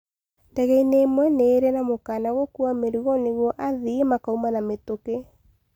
Ndegeinĩ ĩmwe nĩ ĩirĩ mũkana gũkua mĩrigo nĩ guo athii makauma na mitũkĩ